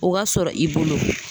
O ka sɔrɔ i bolo